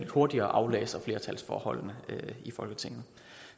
hurtigere aflæser flertalsforholdene i folketinget